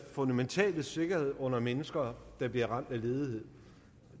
fundamentale sikkerhed under mennesker der bliver ramt af ledighed